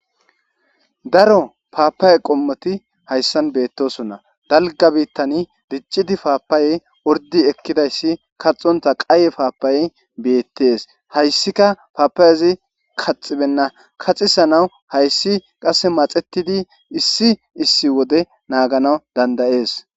daro paapaye qommoti hayssan beettosonna dalga biittan diccidi paapayey ordi ekkidayssi kaxonta qaye paapaye beettees hayssika paapaayezi kaxibenna kaxisa naw hayssi qase maxetidi issi issi wode naagana dandayees